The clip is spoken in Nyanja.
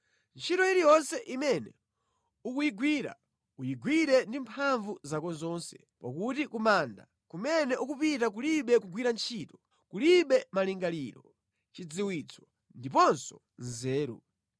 Ntchito iliyonse imene ukuyigwira, uyigwire ndi mphamvu zako zonse, pakuti ku manda kumene ukupita kulibe kugwira ntchito, kulibe malingaliro, chidziwitso ndiponso nzeru.